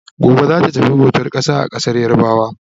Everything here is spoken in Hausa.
Gobe zata tafi bautan ƙasa a ƙasar yarabawa